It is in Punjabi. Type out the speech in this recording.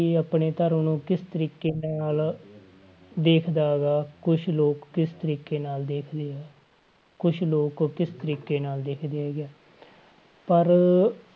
ਆਪਣੇ ਧਰਮ ਨੂੰ ਕਿਸ ਤਰੀਕੇ ਨਾਲ ਦੇਖਦਾ ਗਾ ਕੁਛ ਲੋਕ ਕਿਸ ਤਰੀਕੇ ਨਾਲ ਦੇਖਦੇ ਹੈ, ਕੁਛ ਲੋਕ ਕਿਸ ਤਰੀਕੇ ਨਾਲ ਦੇਖਦੇ ਹੈਗੇ ਹੈ ਪਰ